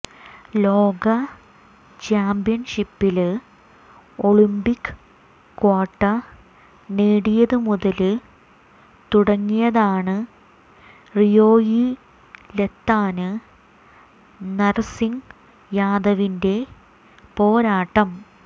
ലോക ചാമ്പ്യന്ഷിപ്പില് Olympic quota നേടിയതു മുതല് തുടങ്ങിയതാണ് റിയോയിലെത്താന് നര്സിംഗ് യാദവിന്റെ പോരാട്ടം